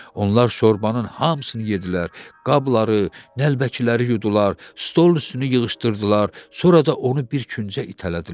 Onlar şorbanın hamısını yedilər, qabları, nəlbəkiləri yudular, stol üstünü yığışdırdılar, sonra da onu bir küncə itələdilər.